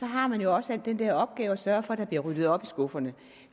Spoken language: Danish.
har man jo også den opgave at sørge for at der bliver ryddet op i skufferne